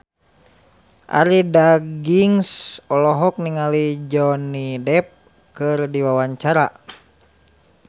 Arie Daginks olohok ningali Johnny Depp keur diwawancara